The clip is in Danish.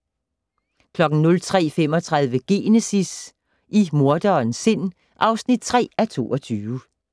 03:35: Genesis - i morderens sind (3:22)